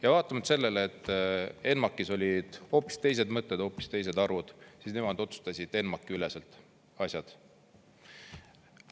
Ja vaatamata sellele, et ENMAK-is olid hoopis teised mõtted, hoopis teised arvud, siis nemad otsustasid ENMAK-i üleselt asjad.